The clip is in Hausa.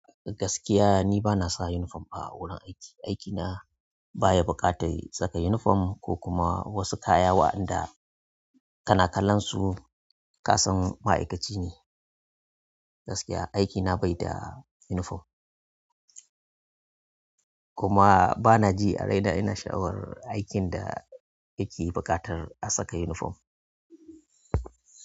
Gaskiya ni bana saka unifom a wurin aiki. Aiki na baya buƙatar saka unifom ko kuma wasu kaya waɗanda kanakalansu kasan ma'aikaci ne. Gaskiya aikina bai da unifom. Kuma bana ji a raina ina sha'awar aikin da yake buƙatar a saka uniforn.